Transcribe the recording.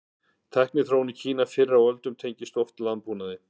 Tækniþróun í Kína fyrr á öldum tengdist oft landbúnaði.